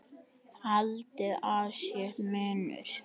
Haldið að sé munur!